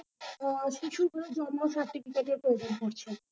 আহ শিশুদের জন্ম certificate এর প্রয়োজন পড়ছে।